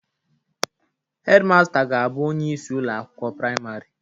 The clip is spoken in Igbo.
Hedmasta ga-abụ onye isi ụlọ akwụkwọ praịmarị